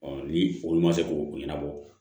ni olu ma se ko o ɲanabɔ